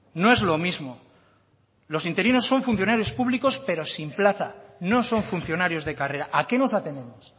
no es lo mismo los interinos son funcionarios públicos pero sin plaza no son funcionarios de carrera a qué nos atenemos